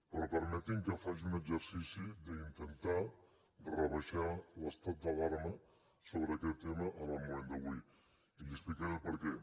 però permeti’m que faci un exercici d’intentar rebaixar l’estat d’alarma sobre aquest tema en el moment d’avui i li explicaré el perquè